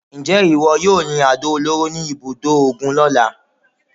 Ǹjẹ́ ìwọ yóò yin àdó olóró ní ibùdó ogun lọ́la?